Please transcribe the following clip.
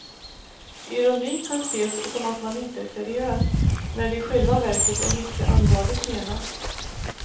Ironi kan ses som att man inte är seriös, när det i själva verket är mycket allvarligt menat.